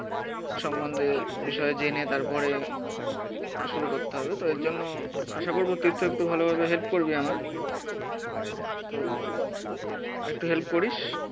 সম্মন্ধে বিষয়ে জেনে তারপরে শুরু করতে হবে তো এরজন্য আশা করবো তীর্থ একটু ভালোভাবে হেল্প করবি আমার। তো একটু হেল্প করিস